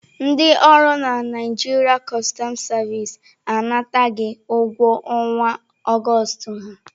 Ndị ọrụ na Naịjirịa customu sevisi anataghị ụgwọ ọnwa Augustu ha.